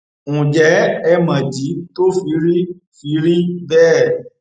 ǹjẹ ẹ mọdí tó fi rí fi rí bẹẹ